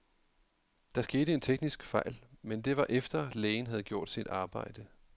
Der skete en teknisk fejl, men det var efter, lægen havde gjort sit arbejde.